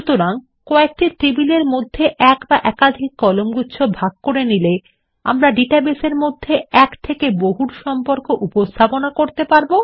সুতরাং কয়েকটি টেবিলের মধ্যে একটি বা একাধিক কলামগুচ্ছ ভাগ করে নিলে আমরা ডাটাবেসের মধ্যে এক থেকে বহুর সম্পর্ক উপস্থাপনা করতে পারব